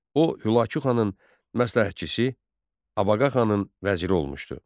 O Hülakı xanın məsləhətçisi, Abağa xanın vəziri olmuşdu.